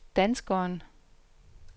danskeren